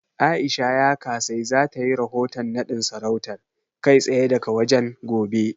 A'isha Yakasai za ta yi rahoton naɗin sarautar, kai tsaye daga wajen, gobe.